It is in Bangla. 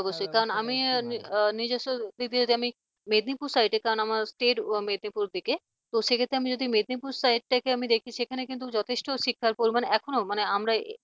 অবশ্যই কারণ আমি নিজেও আমি নিজস্ব দিক থেকে মেদনীপুর side কারণ আমার state মেদনীপুর দিকে তো সে ক্ষেত্রে আমি যদি মেদিনীপুর side টা কে দেখি যথেষ্ট শিক্ষার পরিমাণ এখনো মানে আমরা